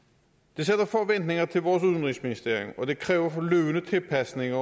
det sætter forventninger til vores udenrigsministerium og det kræver fornødne tilpasninger